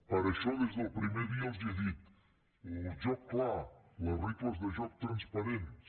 per això des del primer dia els he dit el joc clar les regles de joc transparents